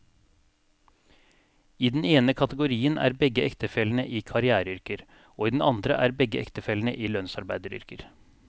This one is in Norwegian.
I den ene kategorien er begge ektefellene i karriereyrker, og i den andre er begge ektefellene i lønnsarbeideryrker.